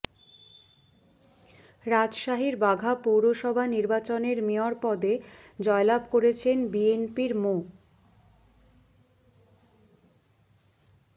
রাজশাহীর বাঘা পৌরসভা নির্বাচনের মেয়র পদে জয়লাভ করেছেন বিএনপির মো